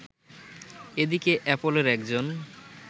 এদিকে অ্যাপলের একজন